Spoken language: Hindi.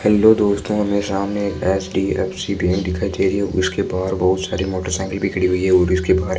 हेलो दोस्तो हमें सामने एच_डी_एफ_सी बैंक दिखाई दे रही है उसके बाहर बहुत सारी मोटरसाइकिल भी खड़ी हुई है वो भी उसके बाहर --